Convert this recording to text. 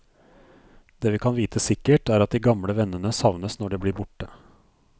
Det vi kan vite sikkert, er at de gamle vennene savnes når de blir borte.